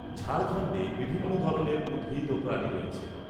ঝাড়খণ্ডে বিভিন্ন ধরনের উদ্ভিদ ও প্রাণী রয়েছে।